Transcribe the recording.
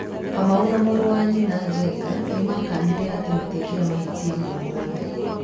Kamau na mũrũ wa nyina Njenga nĩ makanire matĩekire mahĩtia momothe.